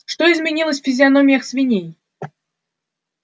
что изменилось в физиономиях свиней